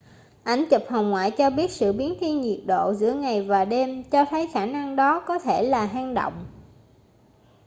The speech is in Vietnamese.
ảnh chụp hồng ngoại cho biết sự biến thiên nhiệt độ giữa ngày và đêm cho thấy khả năng đó có thể là hang động